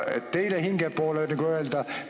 Teiseks, teie hinge poole, nagu öeldakse.